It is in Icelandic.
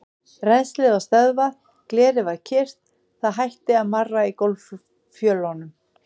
Rennslið var stöðvað, glerið var kyrrt, það hætti að marra í gólffjölunum.